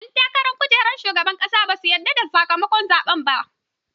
Ƴan takarar kujerar shugaban ƙasa basu yarda da sakamakon zaɓen ba.